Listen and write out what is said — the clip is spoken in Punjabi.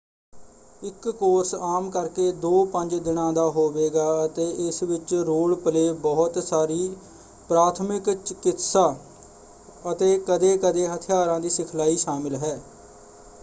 ਇਕ ਕੋਰਸ ਆਮ ਕਰਕੇ 2-5 ਦਿਨਾਂ ਦਾ ਹੋਵੇਗਾ ਅਤੇ ਇਸ ਵਿੱਚ ਰੋਲ-ਪਲੇਅ ਬਹੁਤ ਸਾਰੀ ਪ੍ਰਾਥਮਿਕ ਚਕਿਤਸਾ ਅਤੇ ਕਦੇ-ਕਦੇ ਹਥਿਆਰਾਂ ਦੀ ਸਿਖਲਾਈ ਸ਼ਾਮਿਲ ਹੈ।